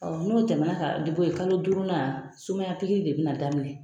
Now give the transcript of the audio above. Ɔ n'o tɛmɛna ka di b'o yen kalo duurunna sumaya pikiri de bina daminɛ